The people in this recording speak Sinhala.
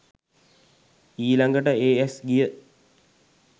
ඊළඟට ඒ ඇස් ගිය